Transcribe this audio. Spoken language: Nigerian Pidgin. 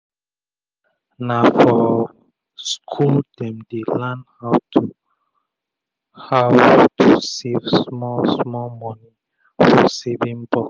na for school dem dey learn how to how to save small small moni for saving box